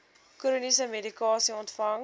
chroniese medikasie ontvang